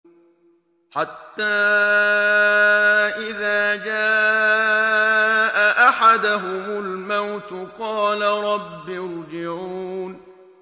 حَتَّىٰ إِذَا جَاءَ أَحَدَهُمُ الْمَوْتُ قَالَ رَبِّ ارْجِعُونِ